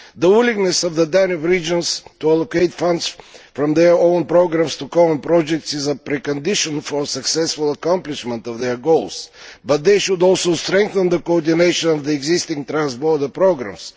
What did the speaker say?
The willingness of the Danube regions to allocate funds from their own programmes to common projects is a precondition for the successful accomplishment of their goals, but they should also strengthen the coordination of the existing transborder programmes.